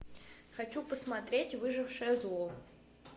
хочу посмотреть выжившее зло